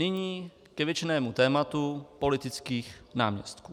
Nyní k věčnému tématu politických náměstků.